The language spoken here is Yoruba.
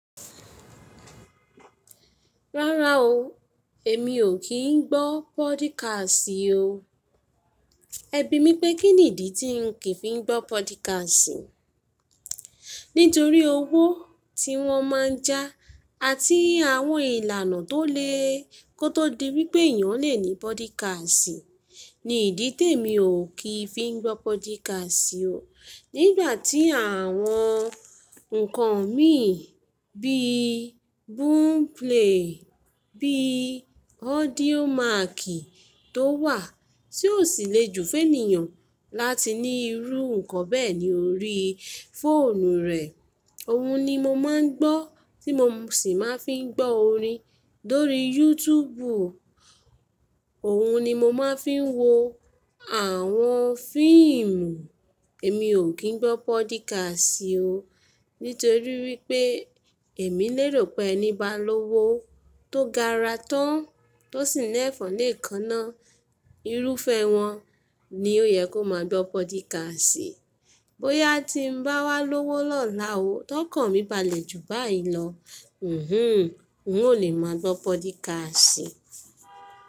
Rárá o, èmi ò kí ń gbọ́ podcast o. Ẹbí mi pé kín n ìdí tí ń kìí fi ń gbọ́ podcast? Nítorí owó tí wọ́n máa ń já àti àwọn ìlànà tó le kó tó di wípé èèyàn lè ní podcast ni ìdí té mi ò kí ń fi ń gbọ́ podcast o. Nígbà tí àwọn ǹkan mí bí boomplay, bí audiomack tó wà tí ó sì le jù fénìyàn láti ní irú ǹkan bẹ́ẹ̀ ní orí fóònù rẹ̀. Òun ni mo máa ń gbọ́ tí mo sì máa ń fi ń gbọ́ orin lórí YouTube. Òun ni mo máa ń fi ń wo àwọn fíìmù. Èmi ò kí ń gbọ́ podcast o nítorí wípé èmi lérò pé ẹni bá lówó tó gara tán, tó sì ní ẹ̀fọn lè kaná, irúfẹ́ wọn ni ó yẹ kó máa gbọ́ podcast. Bóyá tí ń bá wá lówó lọ́la o, tó kàn mí balẹ̀ jù báyìí lọ, hinhn, ń ò lè máa gbọ́ podcast.